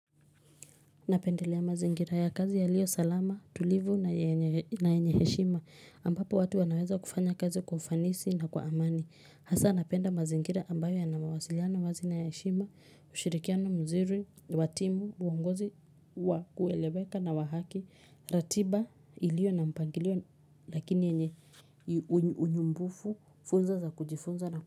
Napendelea mazingira ya kazi yaliyo salama, tulivu na yenye heshima ambapo watu wanaweza kufanya kazi kwa ufanisi na kwa amani. Hasa napenda mazingira ambayo yanamawasiliano wazi na yenye heshima, ushirikiano mzuri, wa timu, uongozi wa kueleweka na wa haki, ratiba ilio na mpangilio lakini yenye unyumbufu, funzo za kujifunza na kujifunza.